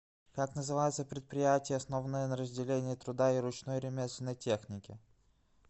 как называется предприятие основанное на разделении труда и ручной ремесленной технике